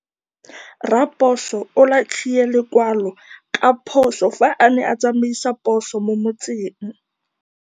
Raposo o latlhie lekwalô ka phosô fa a ne a tsamaisa poso mo motseng.